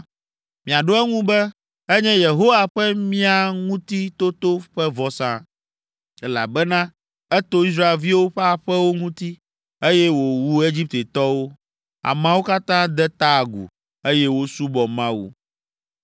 miaɖo eŋu be, ‘Enye Yehowa ƒe mía ŋuti toto ƒe vɔsa, elabena eto Israelviwo ƒe aƒewo ŋuti, eye wòwu Egiptetɔwo.’ ” Ameawo katã de ta agu, eye wosubɔ Mawu.